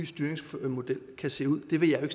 styringsmodel kan se ud det vil jeg